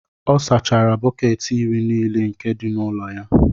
ọ sachara bọket iri nile nke di n'ulo-ya